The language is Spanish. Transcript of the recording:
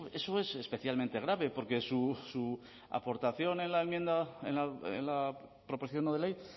eso eso es especialmente grave porque su aportación en la proposición no de ley